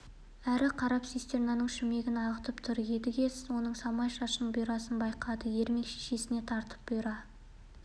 әрі қарап цистернаның шүмегін ағытып тұр едіге оның самай шашының бұйрасын байқады ермек шешесіне тартып бұйра